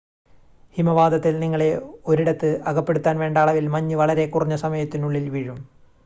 ഹിമവാതത്തിൽ നിങ്ങളെ ഒരിടത്ത് അകപ്പെടുത്താൻ വേണ്ട അളവിൽ മഞ്ഞ് വളരെ കുറഞ്ഞ സമയത്തിനുള്ളിൽ വീഴും